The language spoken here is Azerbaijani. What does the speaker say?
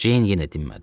Ceyn yenə dinmədi.